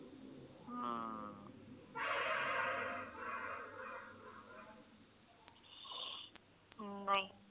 ਨਹੀਂ